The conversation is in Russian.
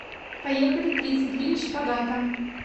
поехали тридцать три шпагата